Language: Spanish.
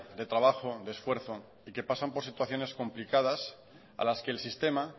de trabajo de esfuerzo y que pasan por situaciones complicadas a las que el sistema